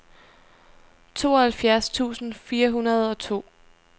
tooghalvfjerds tusind fire hundrede og to